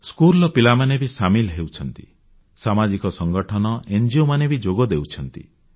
ସ୍କୁଲର ପିଲାମାନେ ବି ସାମିଲ ହେଉଛନ୍ତି ସାମାଜିକ ସଂଠଗନ ଙ୍ଗୋ ମାନେ ବି ଯୋଗ ଦେଉଛନ୍ତି